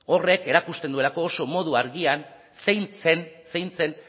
horrek erakusten duelako oso modu argian zein zen zein zen